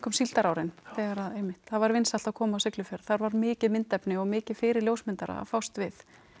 síldarárin þegar einmitt var vinsælt að koma á Siglufjörð þar var mikið myndefni og mikið fyrir ljósmyndara að fást við